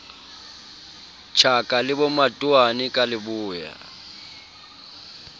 tjhaka le bomatowane ka leboya